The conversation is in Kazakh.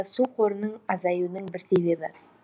су қорының азаюының бір себебі